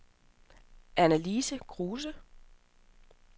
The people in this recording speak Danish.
Annalise Kruse